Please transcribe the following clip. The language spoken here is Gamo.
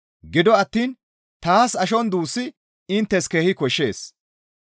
Gido attiin taas ashon duussi inttes keehi koshshees.